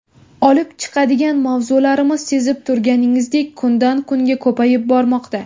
Olib chiqadigan mavzularimiz, sezib turganingizdek, kundan kunga ko‘payib bormoqda.